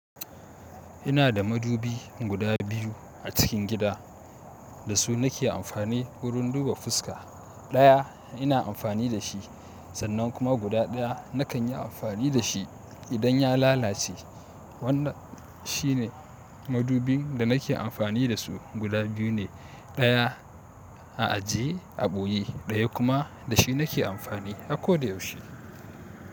Ina da madubi guda biyu a cikin gida da su nake amfani wurin duba fuska. Ɗaya ina amfani da shi sannan kuma guda ɗaya nakan yi amfani da shi idan ya lalace. Wannan shine madubin da nake amfani da su guda biyu ne, ɗaya a ajiye a ɓuyi, ɗaya kuma da shi nake amfani a koda yaushe.